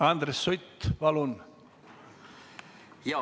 Andres Sutt, palun!